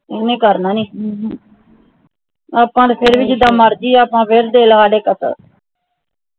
ਇਹਨੇ ਕਰਨਾ ਨਹੀਂ ਆਪਾ ਤਾ ਫੇਰ ਭੀ ਜੀਦਾ ਮਰਜੀ